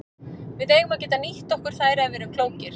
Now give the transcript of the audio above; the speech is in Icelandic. Við eigum að geta nýtt okkur þær ef við erum klókir.